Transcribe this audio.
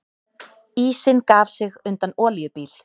Ísinn gaf sig undan olíubíl